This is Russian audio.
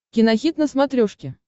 кинохит на смотрешке